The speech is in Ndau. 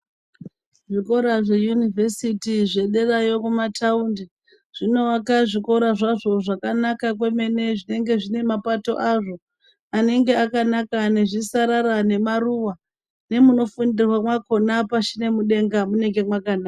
Zvikora zveunivhesiti zvederayo kumataundi zvinovaka zvikora zvazvo zvakanaka kwemene, zvinenge zvine mapato azvo anenge akanaka nezvisarara nemaruwaa, nemunofundirwaa makona pashi nemudengaa mwunenge mwakanaka.